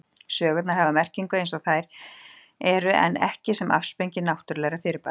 Sögurnar hafa merkingu eins og þær eru en ekki sem afsprengi náttúrulegra fyrirbæra.